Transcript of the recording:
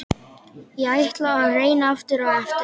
Ég ætla að reyna aftur á eftir.